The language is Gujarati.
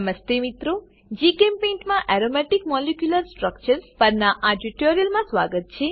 જીચેમ્પેઇન્ટ માં aromatic molecular structures aromatic molecular structures પરનાં આ ટ્યુટોરીયલમાં સ્વાગત છે